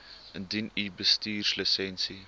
indien u bestuurslisensie